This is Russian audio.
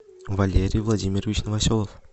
валерий владимирович новоселов